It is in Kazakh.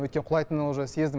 өйткені құлайтынын уже сездім